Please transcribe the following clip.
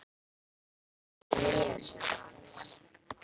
Mig langar að fara til Nýja-Sjálands.